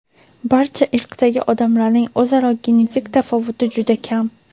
Barcha irqdagi odamlarning o‘zaro genetik tafovuti juda kam.